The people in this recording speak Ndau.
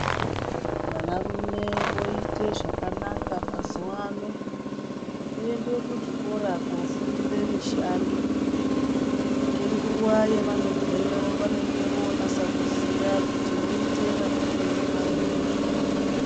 Vanarume voite zvakanaka mazuwaano, ngekuende kuzvikora koofundire mishando. Ngenguva yevanobveyo, vanenge vonasa kuziya, kuti voite rapirei vantu muzvibhedhleya.